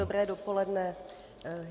Dobré dopoledne.